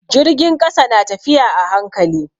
Jirgin ƙasa na tafiya a hankali.